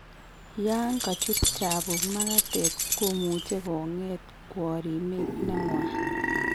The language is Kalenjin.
Yan kachut chabuk magatet komuche konget kworimet neng'wan